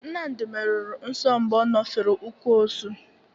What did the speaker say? Nnmadị meruru nso mgbe ọ ñofere ụkwụ osụ.